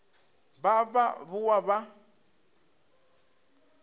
ba ba ba boa ba